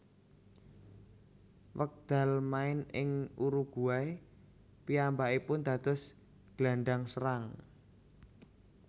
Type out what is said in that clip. Wekdal main ing Uruguay piyambakipun dados gelandang serang